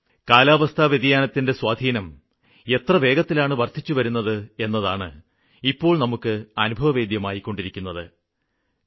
കാലാവസ്ഥാ വ്യതിയാനത്തിന്റെ സ്വാധീനം എത്ര വേഗത്തിലാണ് വര്ദ്ധിച്ചു വരുന്നത് എന്നതാണ് ഇപ്പോള് നമുക്ക് അനുഭവവേദ്യമായിക്കൊണ്ടിരിക്കുന്നത്